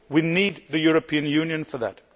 We need the European Union for that.